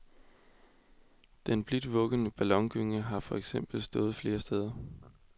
Den blidt vuggende ballongynge har for eksempel stået flere steder.